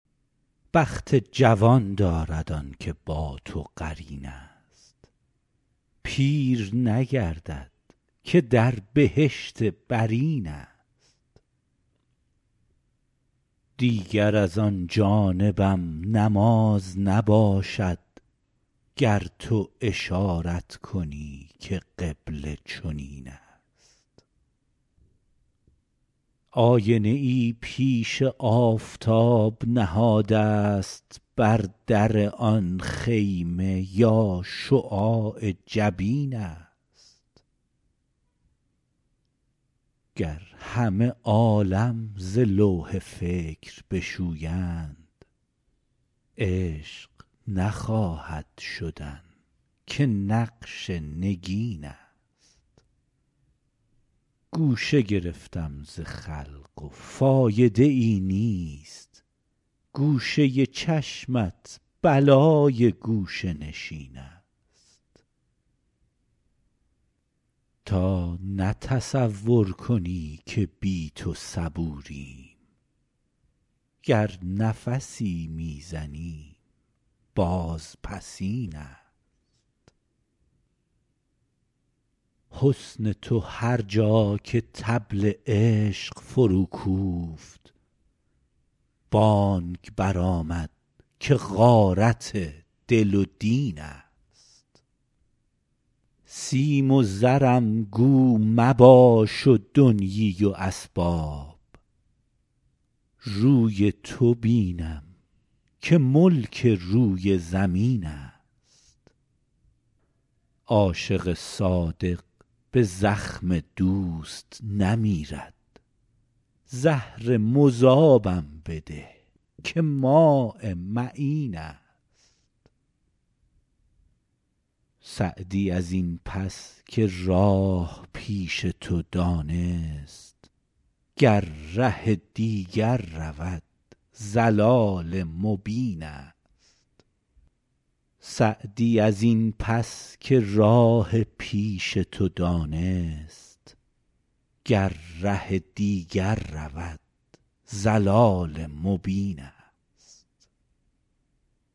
بخت جوان دارد آن که با تو قرین است پیر نگردد که در بهشت برین است دیگر از آن جانبم نماز نباشد گر تو اشارت کنی که قبله چنین است آینه ای پیش آفتاب نهادست بر در آن خیمه یا شعاع جبین است گر همه عالم ز لوح فکر بشویند عشق نخواهد شدن که نقش نگین است گوشه گرفتم ز خلق و فایده ای نیست گوشه چشمت بلای گوشه نشین است تا نه تصور کنی که بی تو صبوریم گر نفسی می زنیم بازپسین است حسن تو هر جا که طبل عشق فروکوفت بانگ برآمد که غارت دل و دین است سیم و زرم گو مباش و دنیی و اسباب روی تو بینم که ملک روی زمین است عاشق صادق به زخم دوست نمیرد زهر مذابم بده که ماء معین است سعدی از این پس که راه پیش تو دانست گر ره دیگر رود ضلال مبین است